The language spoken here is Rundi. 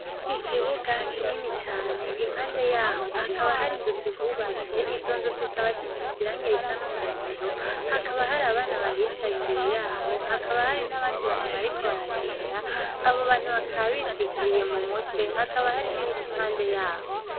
Ikibuga kinini cane impande yaho hakaba hari inzu zihubatse, izo nzu zikaba zisize irangi risa n'umuhondo, hakaba hari abana bahicaye imbere yaho hakaba hari n'abandi bantu bariko baragenda, abo bantu bakaba bitwikiriye mu mutwe, hakaba hari n'ibiti imbere yaho.